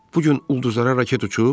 Bu gün ulduzlara raket uçub?